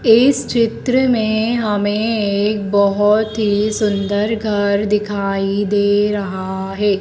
इस चित्र में हमें एक बहोत ही सुंदर घर दिखाई दे रहा हैं।